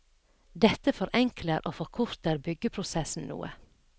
Dette forenkler og forkorter byggeprosessen noe.